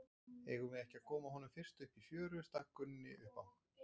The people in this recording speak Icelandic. Eigum við ekki að koma honum fyrst upp í fjöru, stakk Gunni upp á.